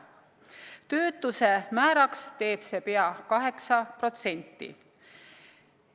Töötuse määraks teeb see pea 8%.